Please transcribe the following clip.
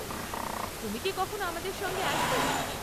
তুমি কি কখনো আমাদের সঙ্গে আসবে?